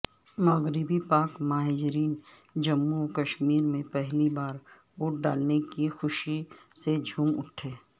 مغربی پاک مہاجرین جموںوکشمیر میں پہلی بار ووٹ ڈالنے کی خوشی سے جھوم اٹھے